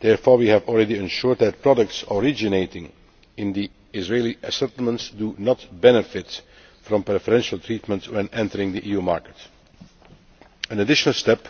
Therefore we have already ensured that products originating in the Israeli settlements do not benefit from preferential treatment when entering the EU market. An additional step